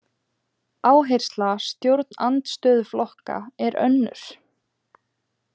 Áhersla stjórnarandstöðuflokka er önnur.